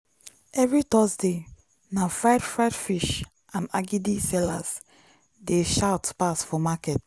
every thursday na fried fried fish and agidi sellers dey shout pass for market.